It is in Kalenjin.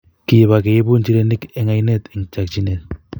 Kebak keibu inchireni eng oinee eng chokchinee.